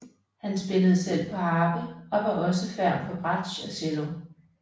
Han spillede selv på harpe og var også ferm på bratsj og cello